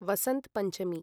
Vasant Panchami